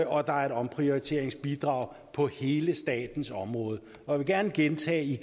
og der er omprioritereringsbidrag på hele statens område jeg vil gerne gentage